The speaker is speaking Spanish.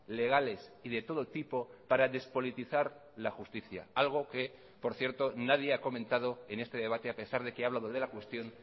legales y de todo tipo para despolitizar la justicia algo que por cierto nadie ha comentado en este debate a pesar de que he hablado de la cuestión